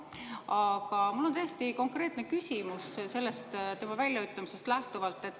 Aga mul on täiesti konkreetne küsimus sellest tema väljaütlemisest lähtuvalt.